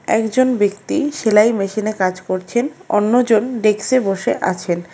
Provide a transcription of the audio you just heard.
একজন ব্যক্তি সেলাই মেশিনে কাজ করছেন অন্যজন ডেক্সে বসে আছেন।